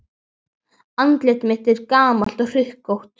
Andlit mitt er gamalt og hrukkótt.